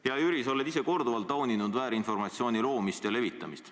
Hea Jüri, sa oled ise korduvalt tauninud väärinformatsiooni loomist ja levitamist.